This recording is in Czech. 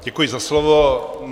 Děkuji za slovo.